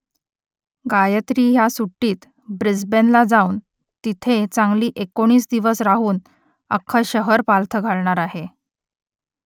गायत्री ह्या सुट्टीत ब्रिस्बेनला जाऊन तिथे चांगली एकोणीस दिवस राहून अख्खं शहर पालथं घालणार आहे